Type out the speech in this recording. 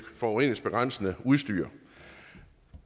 forureningsbegrænsende udstyr